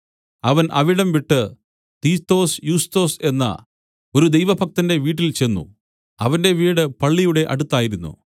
അവൻ അവിടംവിട്ട് Titius Justus എന്ന ഒരു ദൈവഭക്തന്റെ വീട്ടിൽചെന്ന് അവന്റെ വീട് പള്ളിയുടെ അടുത്തായിരുന്നു